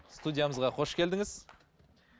студиямызға қош келдіңіз